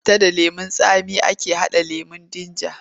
Da citta da lemon tsami ake haɗa lemon jinja.